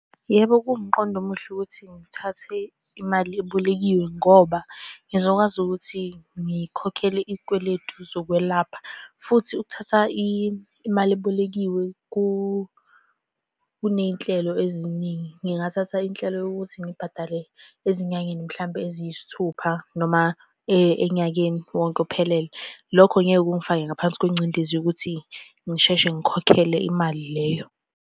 Yebo, kuwumqondo omuhle ukuthi ngithathe imali ebolekiwe ngoba ngizokwazi ukuthi ngikhokhele iy'kweletu zokwelapha, futhi ukuthatha imali ebolekiwe kuney'nhlelo eziningi. Ngingathatha inhlelo yokuthi ngibhadale ezinyangeni mhlampe eziyisithupha noma enyakeni wonke ophelele. Lokho ngeke kungifake ngaphansi kwengcindezi yokuthi ngisheshe ngikhokhele imali leyo.